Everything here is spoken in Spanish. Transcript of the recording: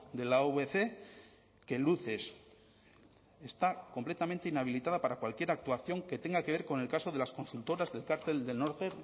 de la avc que luces está completamente inhabilitada para cualquier actuación que tenga que ver con el caso de las consultoras del cartel del norte